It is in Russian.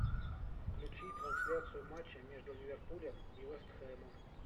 включи трансляцию матча между ливерпулем и вест хэмом